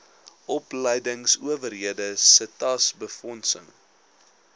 opleingsowerhede setas befondsing